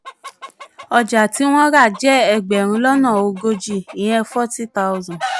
ọjà tí wọ́n rà jẹ́ ẹgbẹ̀rún lọ́nà ogójì ( forty thousand ).